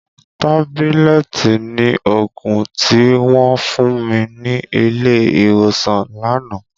Tábílẹ̀tì ni òògùn tí wọ́n fún mi ní ilé ìwòsàn lánàá.